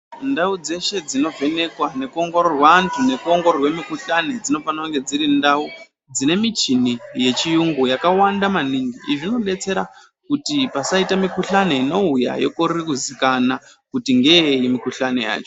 Ndau dzeshe dzinovhenekwa nekuongororwa antu nekuongororwa mukuhlani dzinofanira kunge dziri ndau dzine michini yechiyungu yakawanda maningi izvi zvinodetsera pasaita mikuhlani inouya yokorera kuzikanwa kuti ndeyeyi mikuhlani yacho.